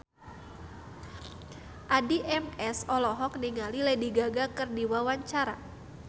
Addie MS olohok ningali Lady Gaga keur diwawancara